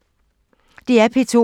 DR P2